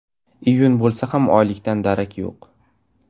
Iyun bo‘lsa ham oylikdan darak yo‘q.